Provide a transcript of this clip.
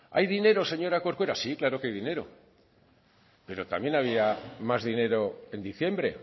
hay dinero señora corcuera sí claro que hay dinero pero también había más dinero en diciembre